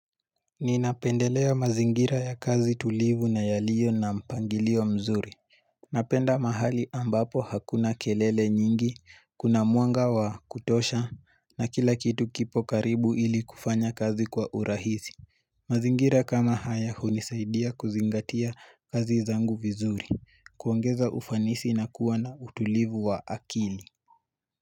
Ninapendelea mazingira ya kazi tulivu na yalio na mpangilio mzuri Napenda mahali ambapo hakuna kelele nyingi, kuna muanga wa kutosha na kila kitu kipo karibu ili kufanya kazi kwa urahizi mazingira kama haya hunisaidia kuzingatia kazi zangu vizuri, kuongeza ufanisi na kuwa na utulivu wa akili.